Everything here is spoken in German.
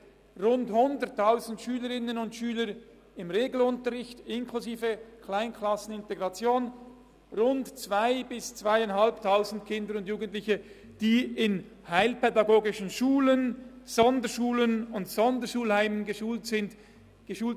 Rund 100 000 Schülerinnen und Schüler gehen in den Regelunterricht, inklusive Kleinklassen und Integration, rund 2000 bis 2500 Kinder und Jugendliche werden in heilpädagogischen Schulen, Sonderschulen und Sonderschulheimen geschult.